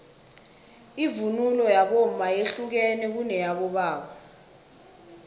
ivunulo yabomma yehlukene kuneyabobaba